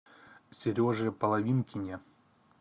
сереже половинкине